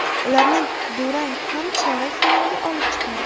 Ularni durang ham chorak finalga olib chiqardi.